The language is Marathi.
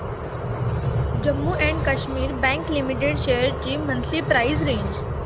Jammu and Kashmir bank limited shares ची मंथली प्राइस रेंज